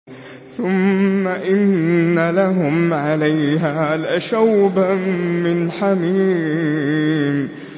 ثُمَّ إِنَّ لَهُمْ عَلَيْهَا لَشَوْبًا مِّنْ حَمِيمٍ